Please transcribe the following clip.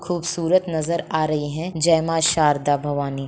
खूबसूरत नजर आ रही है जय मां शारदा भवानी।